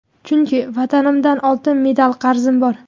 Chunki vatanimdan oltin medal qarzim bor.